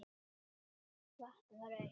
Vatnið var autt.